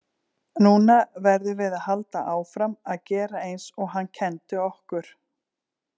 Núna verðum við að halda áfram að gera eins og hann kenndi okkur.